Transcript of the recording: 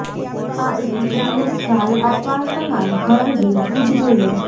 આ ઈક્વિટીને ખ્યાલ આપવા તમારે ઘર વેચવું જ જોઈએ